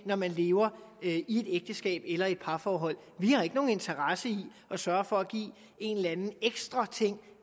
når man lever i et ægteskab eller i parforhold vi har ikke nogen interesse i at sørge for at give en eller anden ekstra ting